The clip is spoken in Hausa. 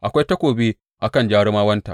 Akwai takobi a kan jarumawanta!